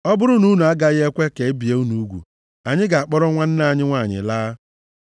Ọ bụrụ na unu agaghị ekwe ka e bie unu ugwu, anyị ga-akpọrọ nwanne anyị nwanyị laa.”